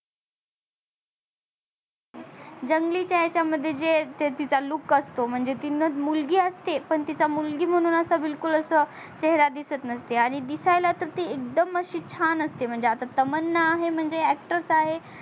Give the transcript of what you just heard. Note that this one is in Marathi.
जंगलीच्या याच्या मध्ये जे तिचा look असतो म्हणजे तीनह मुलगी असते पण तिच्या मुलगी म्हणून असा बिलकुल असा चेहरा दिसत नसते आणि दिसायला तर ती एकदम अशी छान असते म्हणजे आता तमन्ना आहे म्हणजे actor आहे